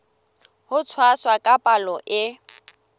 ho tshwasa ka palo e